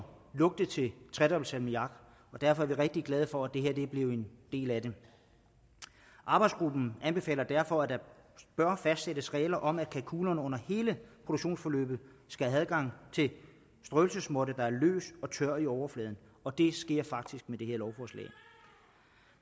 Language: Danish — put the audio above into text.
lugte til tredobbelt salmiak og derfor er vi rigtig glade for at det her er blevet en del af det arbejdsgruppen anbefaler derfor at der bør fastsættes regler om at kalkunerne under hele produktionsforløbet skal have adgang til strøelsesmåtte der er løs og tør i overfladen og det sker faktisk i det her lovforslag